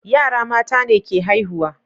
yara mata ne ke haihuwa